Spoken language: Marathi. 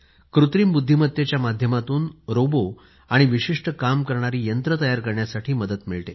कृत्रिम बुद्धिमत्तेच्या माध्यमातून रोबो आणि विशिष्ठ काम करणारी यंत्र तयार करण्यासाठी मदत मिळते